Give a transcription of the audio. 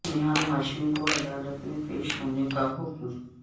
نہال ہاشمی کو عدالت میں پیش ہونے کا حکم